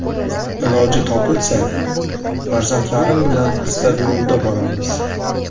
Iloji topilsa, farzandlarim bilan stadionda boramiz.